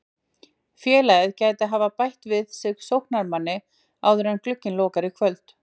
Félagið gæti því bætt við sig sóknarmanni áður en glugginn lokar í kvöld.